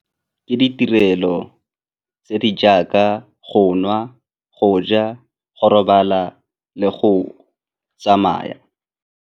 Ke ditirelo tse di jaaka go nwa, go ja, go robala le go tsamaya.